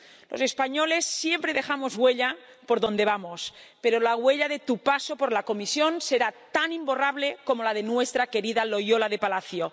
Los españoles siempre dejamos huella por donde vamos, pero la huella de tu paso por la Comisión será tan imborrable como la de nuestra querida Loyola de Palacio.